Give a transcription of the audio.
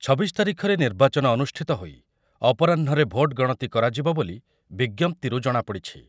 ଛବିଶ ତାରିଖରେ ନିର୍ବାଚନ ଅନୁଷ୍ଠିତ ହୋଇ ଅପରାହ୍ନରେ ଭୋଟ୍ ଗଣତି କରାଯିବ ବୋଲି ବିଜ୍ଞପ୍ତିରୁ ଜଣାପଡ଼ିଛି ।